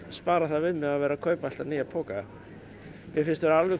spara það við mig að vera að kaupa alltaf nýja poka mér finnst vera